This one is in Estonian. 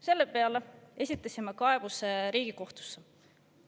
Selle peale esitasime kaebuse Riigikohtusse.